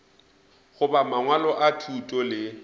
goba mangwalo a thuto le